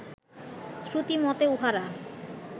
শ্রুতি মতে উঁহারা